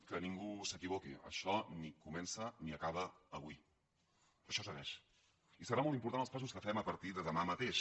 que ningú s’equivoqui això ni comença ni acaba avui això segueix i seran molt importants els passos que fem a partir de demà mateix